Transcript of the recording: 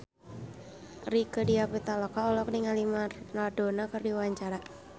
Rieke Diah Pitaloka olohok ningali Maradona keur diwawancara